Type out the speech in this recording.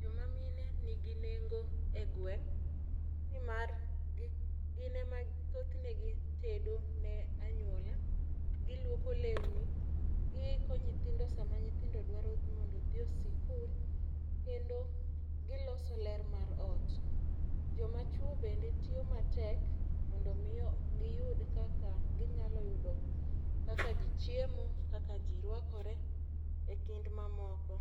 Joma mine nigi nengo e gweng' nimar gi gin ema thothne gitedo ne anyuola ,giluoko lewni, giiko nyithindo sama nyithindo dwaro ni mondo odhi e sikul kendo giloso ler mar ot. Joma chwo bende tiyo matek mondo mi giyud kaka ginyalo yudo kaka jii chiemo kaka jii rwakore e kind mamoko.